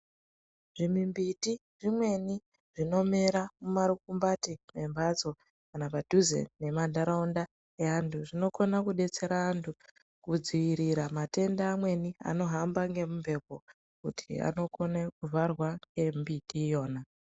Dzimwe mbiti dzimweni dzinomera mumarukambati mwemhatso kana padhuze nemanharaunda eantu. Dzinokona kudetsera antu kudziirira matenda amweni anohamba ngemumhepo kuti anokona kuvharwa ngembiti iyona.